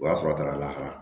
O y'a sɔrɔ a taara lahara